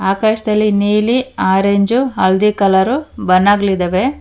ಆಕಾಶದಲ್ಲಿ ನೀಲಿ ಆರೆಂಜು ಹಳದಿ ಕಲರ್ ಬಣ್ಣಗಳಿದಾವೆ.